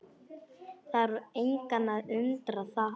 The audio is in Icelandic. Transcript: Þarf engan að undra það.